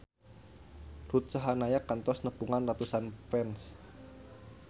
Ruth Sahanaya kantos nepungan ratusan fans